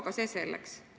Aga see selleks.